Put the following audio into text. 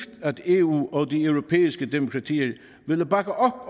at eu og de europæiske demokratier ville bakke